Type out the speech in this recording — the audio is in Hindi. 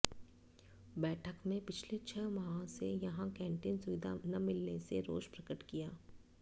बैठक में पिछले छह माह से यहां कैंटीन सुविधा न मिलने से रोष प्रकट किया